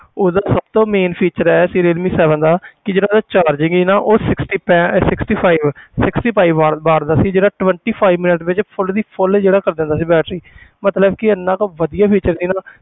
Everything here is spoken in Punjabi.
ਉਸ ਦਾ ਸਭ ਤੋਂ main feature ਇਹ ਸੀ ਰੀਅਲਮੀ seven ਦਾ ਕਿ ਜਿਹੜਾ ਉਹਦਾ charging ਸੀ ਨਾ ਉਹ sixty ਪੈ~ sixty five sixty five ਦਾ ਸੀ ਜਿਹੜਾ twenty five minute ਵਿੱਚ full ਦੀ full ਜਿਹੜਾ ਕਰ ਦਿੰਦਾ ਸੀ battery ਮਤਲਬ ਕਿ ਇੰਨਾ ਕੁ ਵਧੀਆ feature ਸੀ ਨਾ,